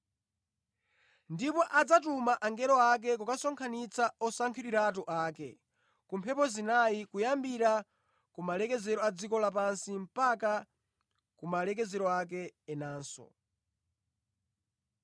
Ndipo adzatuma angelo ake kukasonkhanitsa osankhidwiratu ake ku mphepo zinayi, kuyambira kumalekezero a dziko lapansi mpaka ku malekezero ake enanso.